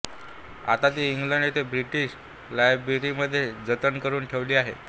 आता ती इंग्लंड येथे ब्रिटिश लायब्ररीमध्ये जतन करून ठेवली आहे